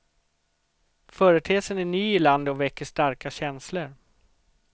Företeelsen är ny i landet och väcker starka känslor.